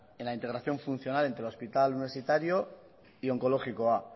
en la integración funcional entre el hospital universitario y onkologikoa